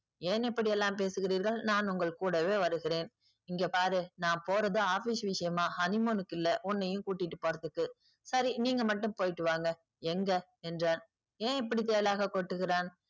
ஏன் இப்படியெல்லாம் பேசுகிறீர்கள் நான் உங்கள் கூடவே வருகிறேன். இங்க பாரு நான் போறது office விஷயமா honey moon க்கில்ல உன்னையும் கூட்டிட்டு போறதுக்கு. சரி நீங்க மட்டும் போயிட்டு வாங்க. எங்க என்றான். ஏன் இப்படி தேளாக கொட்டுகிறான்?